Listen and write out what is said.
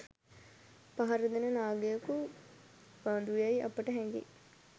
පහරදෙන නාගයකු බඳුයැයි අපට හැඟෙයි.